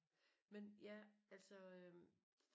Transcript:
Men ja altså øh